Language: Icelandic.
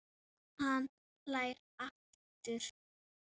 Hann hlær aftur.